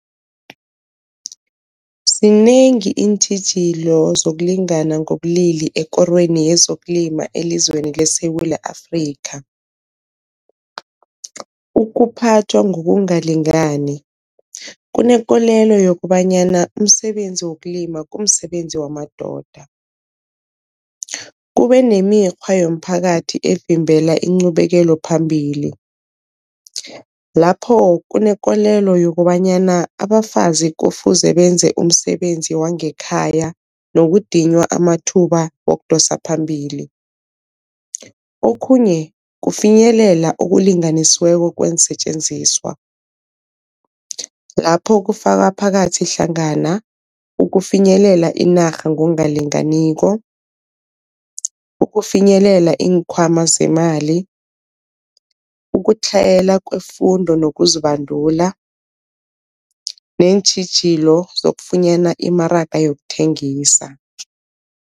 Zinengi iintjhijilo zokulingana ngobulili ekorweni yezokulima elizweni leSewula Afrika. Ukuphathwa ngokungalingani kunekolelo yokobanyana umsebenzi wokulima kumsebenzi wamadoda, kube nemikghwa yomphakathi evimbela incubeleko phambili lapho kunekolelo yokobanyana abafazi kufuze benze umsebenzi wangekhaya nokudinywa amathuba wokudosa phambili. Okhunye kufinyelela okulinganisiweko kweensetjenziswa, lapho kufaka phakathi hlangana ukufinyelela inarha ngokungalinganiko, ukufinyelela iinkhwama zemali, ukutlhayela kwefundo nokuzibandula neentjhijilo zokufunyana imaraga yokuthengisa.